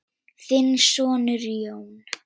Þinn sonur, Jón.